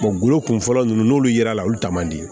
golo kunfɔlɔ ninnu n'olu yera la olu ta man di